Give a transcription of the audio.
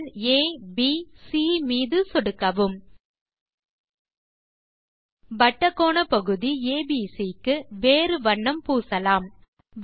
புள்ளிகள் ஆ ப் சி மீது சொடுக்கவும் வட்டக் கோணப்பகுதி ஏபிசி க்கு வேறு வண்ணம் பூசலாம்